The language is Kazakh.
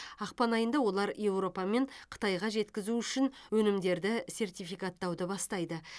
ақпан айында олар еуропа мен қытайға жеткізу үшін өнімдерді сертификаттауды бастайды